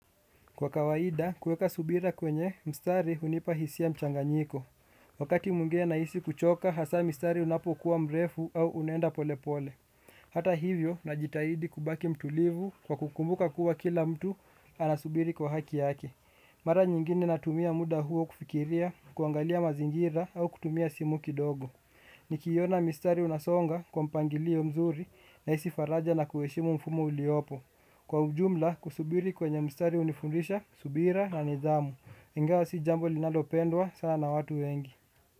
Kwa kawaida, kuweka subira kwenye, mstari hunipa hisia mchanganyiko. Wakati mwngine nahisi kuchoka, hasaa mstari unapokuwa mrefu au unaenda polepole. Hata hivyo, najitahidi kubaki mtulivu kwa kukumbuka kuwa kila mtu anasubiri kwa haki yake. Mara nyingine natumia muda huo kufikiria, kuangalia mazingira au kutumia simu kidogo. Nikiiona mistari unasonga kwa mpangilio mzuri nahisi faraja na kuheshimu mfumu uliopo. Kwa ujumla kusubiri kwenye mstari hunifundisha, subira na nidhamu. Ingawa si jambo linalopendwa sana na watu wengi.